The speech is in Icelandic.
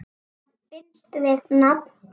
Hvað binst við nafn?